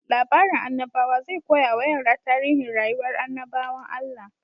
Labarin annabawa zai koya wa yara tarihin rayuwar annabawan Allah.